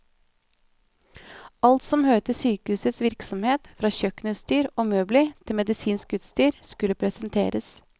Alt som hører til sykehusets virksomhet, fra kjøkkenutstyr og møbler til medisinsk utstyr, skulle presenteres.